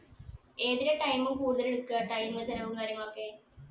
ഏതിനാ time കൂടുതലെടുക്കുക time ഉ ചിലവും കാര്യങ്ങളൊക്കെ